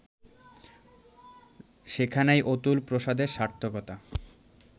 সেখানেই অতুল প্রসাদের সার্থকতা